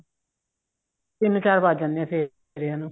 ਤਿੰਨ ਚਾਰ ਵੱਜ ਜਾਂਦੇ ਆ ਫੇਰਿਆ ਨੂੰ